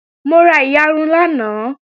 Mo ra iyarun lánàá